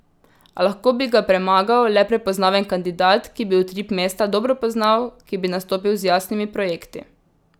A lahko bi ga premagal le prepoznaven kandidat, ki bi utrip mesta dobro poznal, ki bi nastopil z jasnimi projekti.